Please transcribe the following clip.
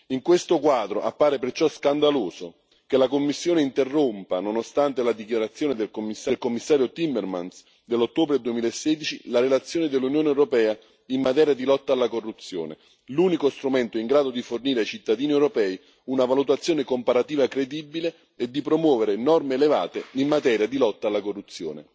In questo quadro appare perciò scandaloso che la Commissione interrompa, nonostante la dichiarazione del Commissario Timmermans dell'ottobre 2016, la relazione dell'Unione europea in materia di lotta alla corruzione, l'unico strumento in grado di fornire ai cittadini europei una valutazione comparativa credibile e di promuovere norme elevate in materia di lotta alla corruzione.